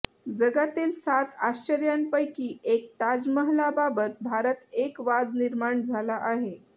जगातील सात आश्चर्यांपैकी एक ताजमहलाबाबत भारतात एक वाद निर्माण झाला आहे